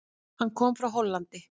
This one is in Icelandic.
Hann kom frá Hollandi.